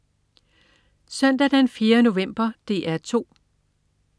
Søndag den 4. november - DR 2: